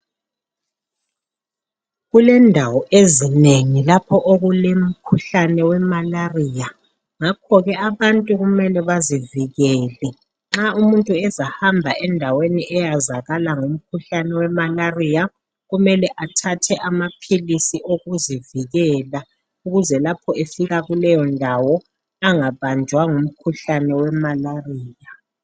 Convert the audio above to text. Kulendawo ezinengi lapho okulomkhuhlane we Malariya. Ngakho ke abantu kumele bazivikele. Nxa umuntu ezahamba endaweni eyazakala ngomkhuhlane weMalariya, kumele athathe amaphilisi okuzivikela, ukuze lapho efika kuleyo ndawo angabanjwa ngumkhuhlane weMalariya.